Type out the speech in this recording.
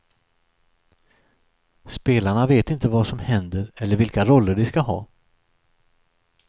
Spelarna vet inte vad som händer eller vilka roller de ska ha.